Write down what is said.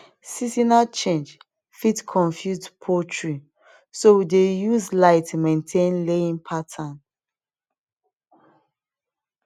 seasonal change fit confuse poultry so we dey use light maintain laying pattern